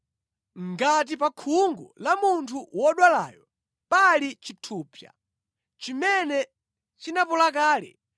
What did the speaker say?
“Ngati pa khungu la munthu wodwalayo pali chithupsa chimene chinapola kale,